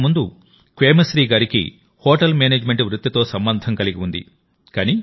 అంతకుముందు క్వేమశ్రీ గారికి హోటల్ మేనేజ్మెంట్ వృత్తితో సంబంధం కలిగి ఉంది